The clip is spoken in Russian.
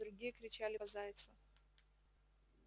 другие кричали по зайцу